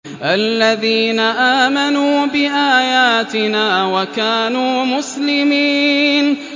الَّذِينَ آمَنُوا بِآيَاتِنَا وَكَانُوا مُسْلِمِينَ